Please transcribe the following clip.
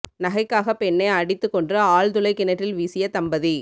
நகைக்காக பெண்ணை அடித்துக் கொன்று ஆழ்துளை கிணற்றில் வீசிய தம்பதி